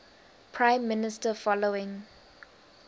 prime minister following